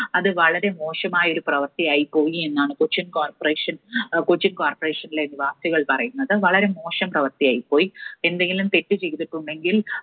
അത് വളരെ മോശമായ ഒരു പ്രവർത്തിയായി പോയി എന്നാണ് കൊച്ചിൻ corporation, കൊച്ചിൻ corporation നിലെ നിവാസികൾ പറയുന്നത്. വളരെ മോശം പ്രവർത്തിയായി പോയി. എന്തെങ്കിലും തെറ്റ് ചെയ്തിട്ടുണ്ടെങ്കിൽ